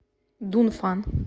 дунфан